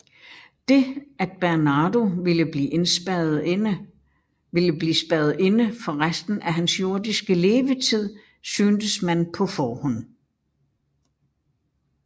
Det at Bernardo ville blive spærret inde for resten af hans jordiske levetid syntes man på forhånd